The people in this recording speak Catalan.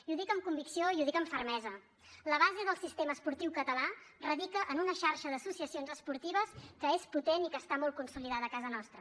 i ho dic amb convicció i ho dic amb fermesa la base del sistema esportiu català radica en una xarxa d’associacions esportives que és potent i que està molt consolidada a casa nostra